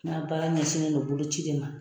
N ka baara ɲɛsinnen don bolo ci de ma.